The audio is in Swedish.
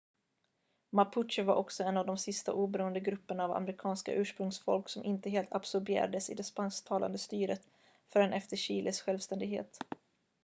mapuche var också en av de sista oberoende grupperna av amerikanska ursprungsfolk som inte helt absorberades i det spansktalande styret förrän efter chiles självständighet